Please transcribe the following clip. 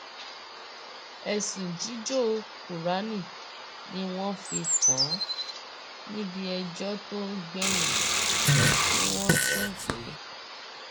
ẹsùn jíjó kúráánì ni wọn fi kàn án níbi ẹjọ tó gbẹyìn tí wọn tún pè é